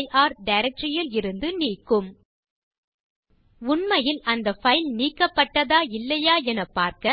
ஐ testdir directory யில் இருந்து நீக்கும் உண்மையில் அந்த பைல் நீக்கப்பட்டதா இல்லையா எனப் பார்க்க